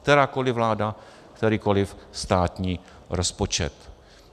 Kterákoli vláda, kterýkoli státní rozpočet.